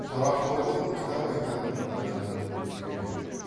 парақорлық кітап айтатын күнәнің үлкені